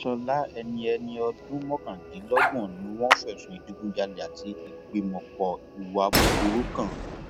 ṣọlá ẹni ẹni ọdún mọkàndínlọgbọn ni wọn fẹsùn ìdígunjalè àti ìgbìmọpọ hùwà búburú kan